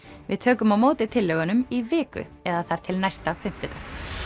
við tökum á móti tillögunum í viku eða þar til næsta fimmtudag